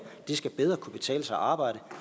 det skal bedre kunne betale sig at arbejde